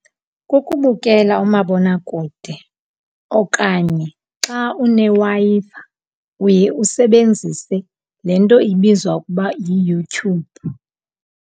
Kukubukela umabonakude okanye xa uneWi-Fi, uye usebenzise le nto ibizwa ukuba yiYouTube.